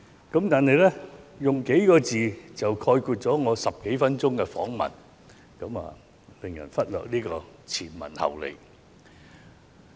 如果用上數個字便概括了我10多分鐘的訪問內容，便會叫人忽略前文後理。